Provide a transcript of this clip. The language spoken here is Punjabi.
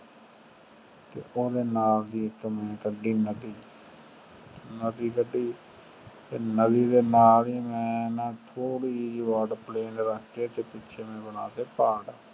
ਤੇ ਓਹ੍ਦੇ ਨਾਲ ਮੈਂ ਇਕ ਕੱਢੀ ਨਦੀ ਤੇ ਨਦੀ ਦੇ ਨਾਲ ਹੀ ਮੈਂ ਥੋਰਦੀ ਜੀ plane ਰੱਖ ਕੇ ਓਹਦੇ ਪਿੱਛੇ ਮੈਂ ਬਣਾ ਦਿਤਾ ਪਹਾੜ